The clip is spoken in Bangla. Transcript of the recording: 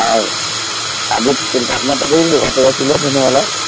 আর আজকের তাপমাত্রা দেখছিলি কত ছিল দিনের বেলা